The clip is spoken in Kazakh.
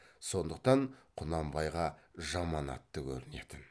сондықтан құнанбайға жаман атты көрінетін